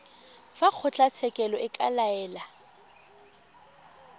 fa kgotlatshekelo e ka laela